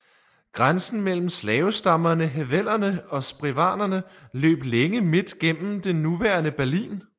Grænsen mellem slaverstammerne Hevellerne og Sprewanerne løb længe midt gennem det nuværende Berlin